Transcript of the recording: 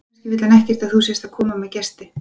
Kannski vill hann ekkert að þú sért að koma með gesti.